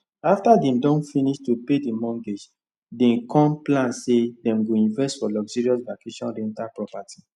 after dem don finish to pay the mortgage dem con plan say dem go invest for luxurious vacation rental property